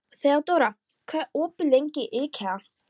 Þeódóra, hvað er opið lengi í IKEA?